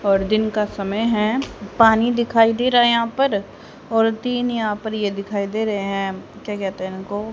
और दिन का समय हैं पानी दिखाई दे रहा हैं यहाँ पर और तीन यहाँ पर ये दिखाई दे रहें हैं क्या कहते हैं इनको?